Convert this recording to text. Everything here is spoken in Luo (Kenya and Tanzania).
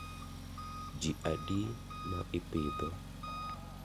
Ji adi ma ipidho?